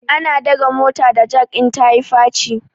Ana dage mota da jak in ta yi faci